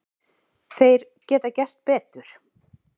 Þeir geta gert betur.